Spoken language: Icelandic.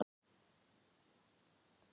Ég treysti þér ekki, góði minn.